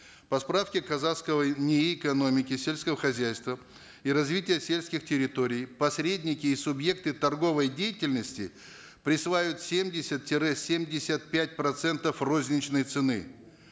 по справке казахского нии экономики сельского хозяйства и развития сельских территорий посредники и субъекты торговой деятельности присваивают семьдесят тире семьдесят пять процентов розничной цены